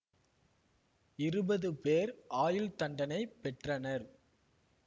இருபது பேர் ஆயுள் தண்டனை பெற்றனர்